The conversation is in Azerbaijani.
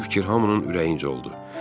Bu fikir hamının ürəyincə oldu.